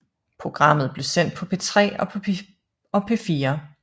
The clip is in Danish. Programmet blev sendt på P3 og P4